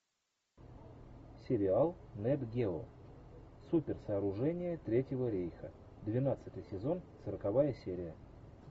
сериал нет гео суперсооружения третьего рейха двенадцатый сезон сороковая серия